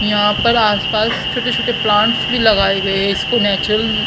यहां पर आसपास छोटे छोटे प्लांट्स भी लगाए गए इसको नेचुरल --